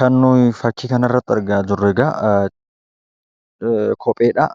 Kan nuyi fakkii kanarratti argaa jirru egaa kopheedha.